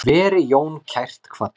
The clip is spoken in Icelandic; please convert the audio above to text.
Veri Jón kært kvaddur.